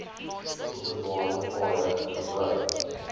openbare paaie gebruik